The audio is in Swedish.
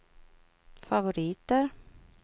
favoriter